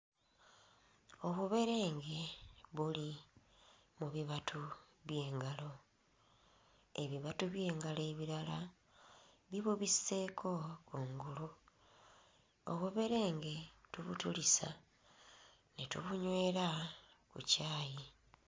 Obuberenge buli mu bibatu by'engalo. Ebibatu by'engalo ebirala bibubisseeko kungulu. Obuberenge tubutulisa ne tubunywera ku caayi.